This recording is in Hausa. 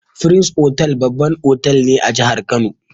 Firins otal babban otal ne a jahar kano